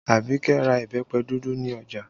Abike ra ìbẹ́pẹ dúdú ní ọjà